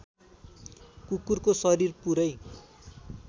कुकुरको शरीर पुरै